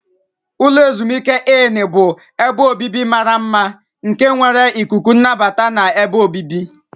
Ulo ezimuike Inni bụ ebe obibi mara mma nke nwere ikuku nnabata na ebe obibi.